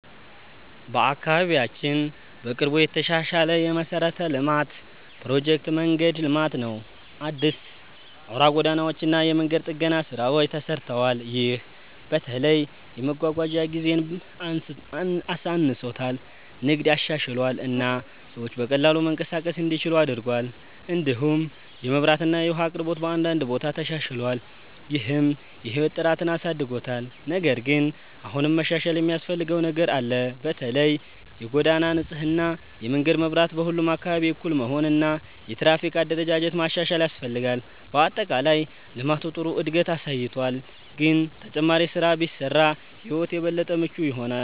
በአካባቢያችን በቅርቡ የተሻሻለ የመሠረተ ልማት ፕሮጀክት መንገድ ልማት ነው። አዲስ አውራ ጎዳናዎች እና የመንገድ ጥገና ስራዎች ተሰርተዋል። ይህ በተለይ የመጓጓዣ ጊዜን አሳንሶታል፣ ንግድን አሻሽሏል እና ሰዎች በቀላሉ መንቀሳቀስ እንዲችሉ አድርጓል። እንዲሁም የመብራት እና የውሃ አቅርቦት በአንዳንድ ቦታ ተሻሽሏል፣ ይህም የህይወት ጥራትን አሳድጎታል። ነገር ግን አሁንም መሻሻል የሚያስፈልገው ነገር አለ። በተለይ የጎዳና ንጽህና፣ የመንገድ መብራት በሁሉም አካባቢ እኩል መሆን እና የትራፊክ አደረጃጀት ማሻሻል ያስፈልጋል። በአጠቃላይ ልማቱ ጥሩ እድገት አሳይቷል፣ ግን ተጨማሪ ስራ ቢሰራ ሕይወት የበለጠ ምቹ ይሆናል።